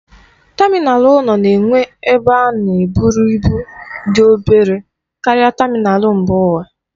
Tamịnal ụlọ na-enwe ebe a na-eburu ibu dị obere karịa tamịnal mba ụwa.